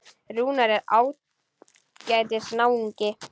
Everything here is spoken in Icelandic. Rúnar er ágætis náungi.